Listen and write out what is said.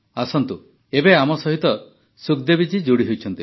ଆସନ୍ତୁ ଏବେ ଆମ ସହିତ ସୁଖଦେବୀ ଜୀ ଯୋଡ଼ି ହୋଇଛନ୍ତି